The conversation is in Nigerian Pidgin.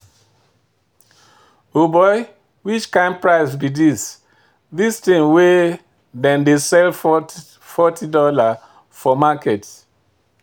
O'boy, which kind price be this? this thing wey them dey sell forty dollars for market.